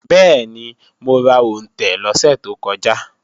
Bẹ́ẹ̀ni, mo ra òǹtẹ̀ lọ́sẹ̀ tó kọjá